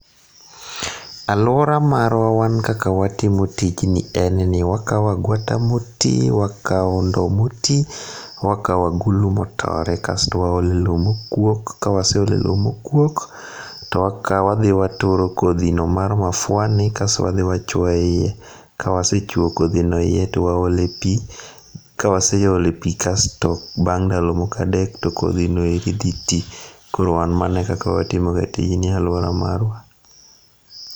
Alwora marwa wan kaka watimo tijni en ni, wakao agwata motii, wakao ndo mtii, wakao agulu motore, kasto waole loo mokuok, kawaseole loo mokuok, to wakao, wadhii waturo kodhi no mar mafua ni kasto wadhii wachuo e iye. Kawasechuo kodhi no e iye, to waole pii, kawaseole pii kasto bang' ndalo moko adek to kodhi no eri dhi tii. Koro wan mano e kaka watimo ga tijni ei alwora marwa.